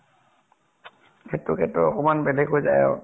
সেইটো কিন্তু অকনমান বেলেগ হৈ যায় আৰু